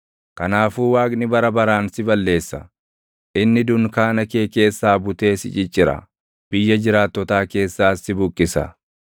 Kanaafuu Waaqni bara baraan si balleessa: Inni dunkaana kee keessaa butee si ciccira; biyya jiraattotaa keessaas si buqqisa.